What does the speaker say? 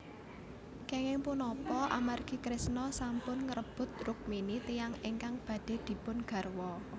Kenging punapa amargi Kresna sampun ngrebut Rukmini tiyang ingkang badhe dipun garwa